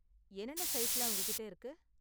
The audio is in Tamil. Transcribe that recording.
என்னென்ன சைஸ்லாம் உங்ககிட்ட இருக்கு?